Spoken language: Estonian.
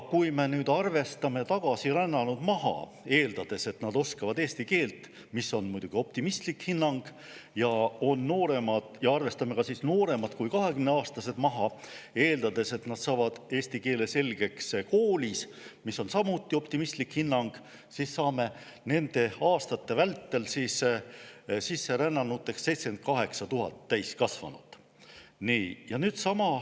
Kui me nüüd arvestame tagasirännanud maha, eeldades, et nad oskavad eesti keelt, mis on muidugi optimistlik hinnang, ja arvestame ka nooremad kui kahekümneaastased maha, eeldades, et nad saavad eesti keele selgeks koolis, mis on samuti optimistlik hinnang, siis saame nende aastate vältel 78 000 täiskasvanud sisserännanut.